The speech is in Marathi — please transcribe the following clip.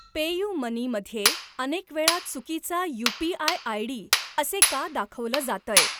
पेयुमनी मध्ये अनेक वेळा चुकीचा यू.पी.आय. आयडी असे का दाखवलं जातंय?